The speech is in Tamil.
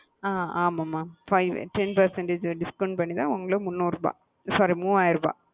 அ ஆமாம் மா five ten percentage discount பண்ணி தான் உங்களுக்கு மூன்னூறு ரூபா sorry மூவாயிரம் ரூபா.